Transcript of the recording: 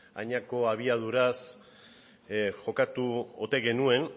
adinako abiaduraz jokatu ote genuen